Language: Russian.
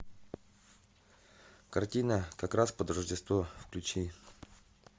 картина как раз под рождество включи